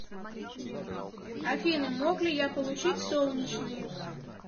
афина мог ли я получить солнечный